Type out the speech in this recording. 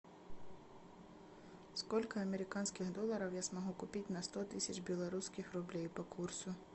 сколько американских долларов я смогу купить на сто тысяч белорусских рублей по курсу